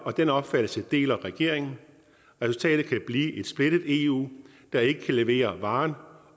og den opfattelse deler regeringen resultatet kan blive et splittet eu der ikke kan levere varen